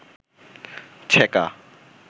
ছেকা